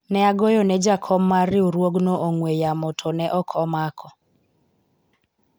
ne agoyo ne jakom mar riwuogno ong'wen yamo to ne ok omako